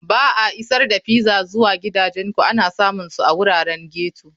Ba a Isar da Pizza zuwa Gidajenku ana samun su a wuraren ghetto.